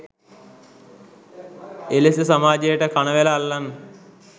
එලෙස සමාජයට කණවැල අල්ලන්